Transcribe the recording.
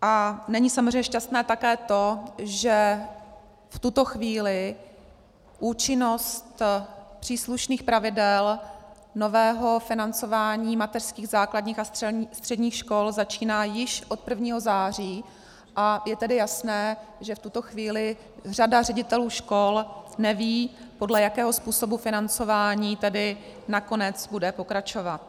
A není samozřejmě šťastné také to, že v tuto chvíli účinnost příslušných pravidel nového financování mateřských, základních a středních škol začíná již od 1. září, a je tedy jasné, že v tuto chvíli řada ředitelů škol neví, podle jakého způsobu financování tedy nakonec bude pokračovat.